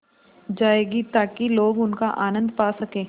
जाएगी ताकि लोग उनका आनन्द पा सकें